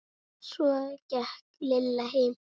Svo gekk Lilla heim.